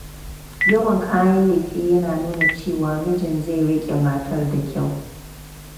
Yawan kayan lefe yana nuna cewa mijin zai riƙe matar da kyau